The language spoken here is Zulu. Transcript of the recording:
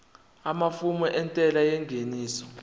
amafomu entela yengeniso